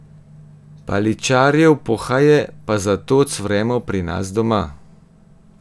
Paličarjev pohaje pa zato cvremo pri nas doma.